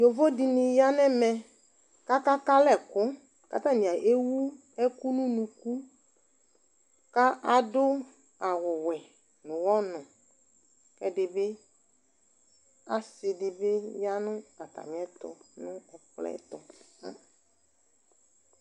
Yovo dɩnɩ ya nʋ ɛmɛ kʋ akaka alɛ ɛkʋ, kʋ atanɩ ewu ɛkʋ nʋ unuku kʋ adʋ awʋwɛ nʋ ʋɣɔnʋ kʋ ɛdɩ bɩ asɩ dɩ bɩ ya nʋ atamɩɛtʋ nʋ ɛkplɔ yɛ tʋ